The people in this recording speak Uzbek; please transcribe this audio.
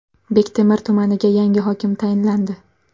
Bektemir tumaniga yangi hokim tayinlandi.